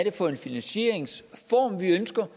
er for en finansieringsform vi ønsker